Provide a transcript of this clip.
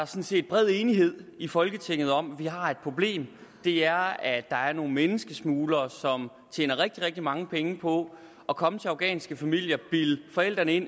set bred enighed i folketinget om at vi har et problem det er at der er nogle menneskesmuglere som tjener rigtig rigtig mange penge på at komme til afghanske familier bilde forældrene ind